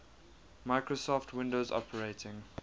microsoft windows operating